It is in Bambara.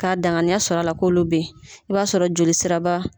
K'a danganiya sɔrɔ a la ko olu bɛ ye i b'a sɔrɔ joli sira ba